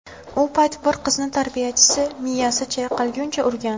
U payt bir qizni tarbiyachisi miyasi chayqalguncha urgan.